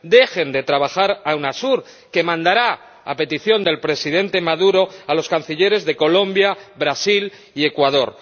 Dejen trabajar a UNASUR, que mandará a petición del Presidente Maduro a los Cancilleres de Colombia, Brasil y Ecuador.